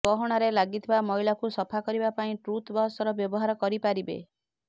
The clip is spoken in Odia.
ଗହଣାରେ ଲାଗିଥିବା ମଇଳାକୁ ସଫା କରିବା ପାଇଁ ଟୁଥବ୍ରଶର ବ୍ୟବହାର କରିପାରିବେ